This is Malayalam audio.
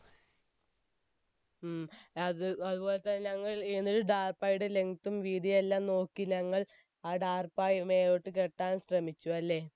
ഉം അത്പോലെ തന്നെ ഞങ്ങൾ ടാർപായിയുടെ length തും വീതിയെല്ലാം നോക്കി ഞങ്ങൾ ആ ടാർപായി മേലോട്ട് കെട്ടാൻ ശ്രമിച്ചുഅല്ലേ